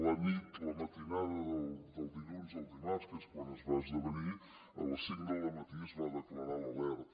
la nit la matinada de dilluns a dimarts que és quan es va esdevenir a les cinc del dematí es va declarar l’alerta